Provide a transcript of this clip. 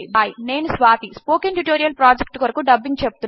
నేను Swathi spoken tutorial project కొరకు dubbing చెపుతున్నాను